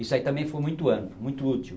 Isso aí também foi muito amplo, muito útil.